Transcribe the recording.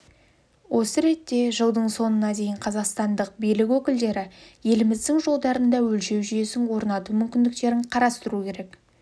осы ретте жылдың соңына дейін қазақстандық билік өкілдері еліміздің жолдарында өлшеу жүйесін орнату мүмкіндіктерін қарастыру керек